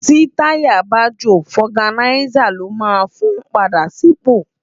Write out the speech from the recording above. Ti tàyá bá jó fògánisá ló mán fún pàdá bó sipó